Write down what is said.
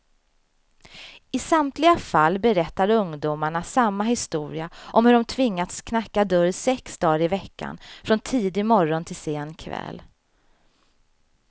I samtliga fall berättar ungdomarna samma historia om hur de tvingats knacka dörr sex dagar i veckan, från tidig morgon till sen kväll.